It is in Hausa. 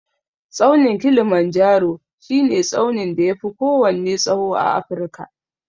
Tsaunin Kilimanjaro shi ne tsaunin da ya fi kowanne tsawo a Afrika